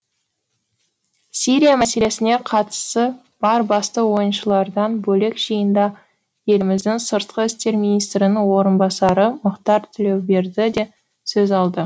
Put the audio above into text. сирия мәселесіне қатысы бар басты ойыншылардан бөлек жиында еліміздің сыртқы істер министрінің орынбасары мұхтар тілеуберді де сөз алды